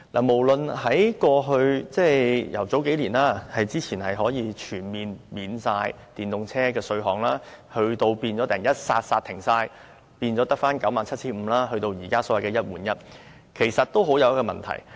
無論是數年前可以全面豁免電動車的稅項，到突然全部煞停，只有 97,500 元的豁免，到現時的"一換一"，其實很有問題。